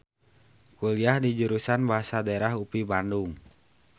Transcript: Kuliah di Jurusan Bahasa Daerah UPI Bandung.